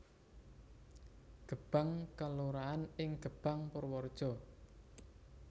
Gebang kelurahan ing Gebang Purwareja